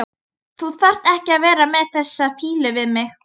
Þú þarft ekki að vera með þessa fýlu við mig.